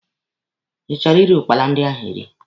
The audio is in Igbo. Ị chọrọ iri ụkpala ndị ahụ eri?